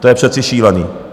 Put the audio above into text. To je přece šílený.